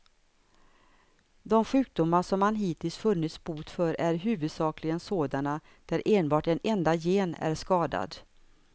De sjukdomar som man hittills funnit bot för är huvudsakligen sådana där enbart en enda gen är skadad.